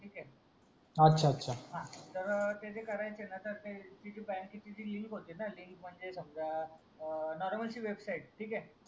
ठीक हे अच्छा तर ते जे करायचे ना ते बँकेची ती लिंक होती ना लिंक म्हणजे समजा नॉर्मल जी वेबसाईड ठीक हे